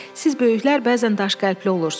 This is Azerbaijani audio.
Siz böyüklər bəzən daşqəlbli olursunuz.